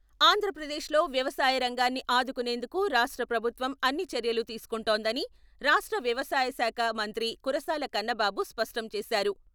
ఆంధ్రప్రదేశ్‌లో వ్యవసాయ రంగాన్ని ఆదుకునేందుకు రాష్ట్ర ప్రభుత్వం అన్ని చర్యలు తీసుకొంటుందని రాష్ట్ర వ్యవసాయ శాఖ మంత్రి కురసాల కన్నబాబు స్పష్టం చేశారు.